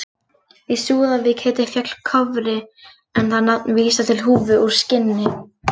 Í Súðavík heitir fjall Kofri en það nafn vísar til húfu úr skinni.